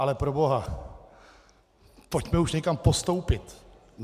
Ale proboha, pojďme už někam postoupit.